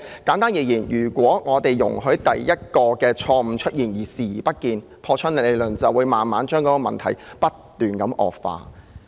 簡單而言，只要容許第一個錯誤出現而視而不見，根據破窗理論，問題便會不斷惡化。